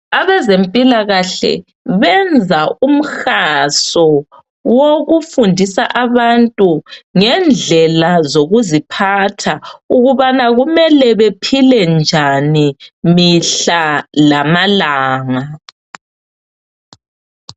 Abezempilakahle benza umhaso wokufundisa abantu ngendlela zokuziphatha ukubana kumele bephile njani mihla lamalanga.